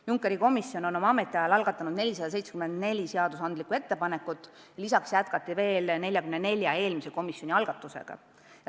Junckeri komisjon on oma ametiajal algatanud 474 seadusandlikku ettepanekut, lisaks jätkati tööd veel 44 eelmise komisjoni algatuse kallal.